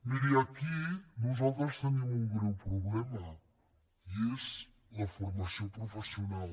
miri aquí nosaltres tenim un greu problema i és la formació professional